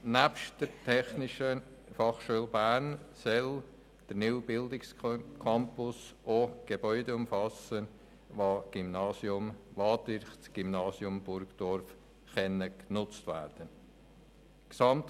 Nebst der TF Bern soll der neue Bildungscampus auch Gebäude umfassen, die durch das Gymnasium Burgdorf genutzt werden können.